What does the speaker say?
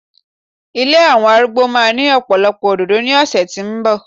ilé àwọn arúgbó ma ni ọpọlọpọ òdòdó ni ọsẹ ti nbọ